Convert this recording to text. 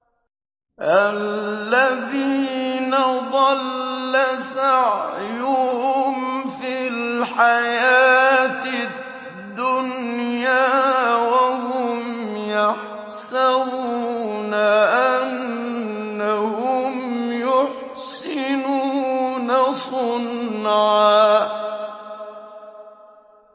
الَّذِينَ ضَلَّ سَعْيُهُمْ فِي الْحَيَاةِ الدُّنْيَا وَهُمْ يَحْسَبُونَ أَنَّهُمْ يُحْسِنُونَ صُنْعًا